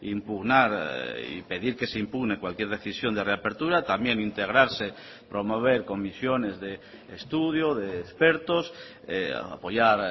impugnar y pedir que se impugne cualquier decisión de reapertura también integrarse promover comisiones de estudio de expertos apoyar